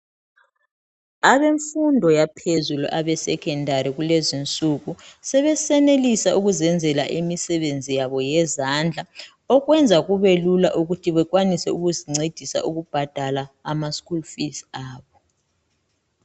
Abemfundo yemfundo yaphezulu abesecondary kulezinsuku sebeyenelisa ukufundela imsebenzi yabo yezandla okwenza ukube lula ukuthi bekwanise ukubhadala amaschool fees abo